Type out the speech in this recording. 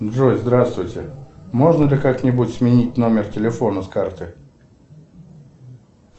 джой здравствуйте можно ли как нибудь сменить номер телефона с карты